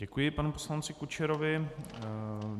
Děkuji panu poslanci Kučerovi.